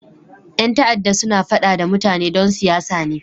Yan ta'adda suna fada da mutane don siyasa ne.